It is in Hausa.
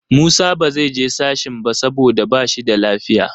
Musa ba zai je sashen ba saboda ba shi da lafiya.